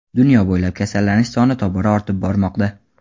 Dunyo bo‘ylab kasallanish soni tobora ortib bormoqda.